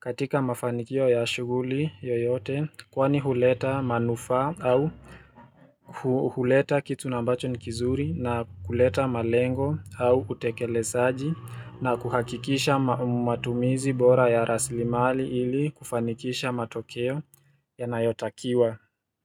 katika mafanikio ya shughuli yoyote Kwani huleta manufaa au huleta kitu nambacho nikizuri na kuleta malengo au kutekele saji na kuhakikisha matumizi bora ya rasilimali ili kufanikisha matokeo ya nayotakiwa.